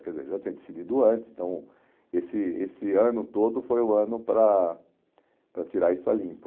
Quer dizer, eu já tinha decidido antes, então esse esse ano todo foi o ano para para tirar isso a limpo.